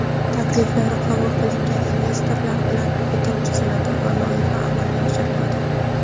Takliflari qabul qilingan investorlar bilan bitim tuziladi va loyiha amalga oshiriladi.